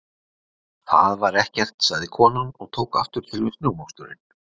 Það var ekkert- sagði konan og tók aftur til við snjómoksturinn.